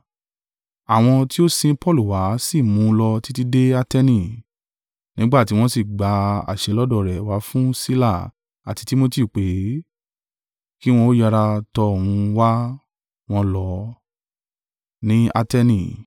Àwọn tí ó sin Paulu wá sì mú un lọ títí dé Ateni; nígbà tí wọ́n sì gba àṣẹ lọ́dọ̀ rẹ̀ wá fún Sila àti Timotiu pé, ki wọn ó yára tọ òun wá, wọ́n lọ.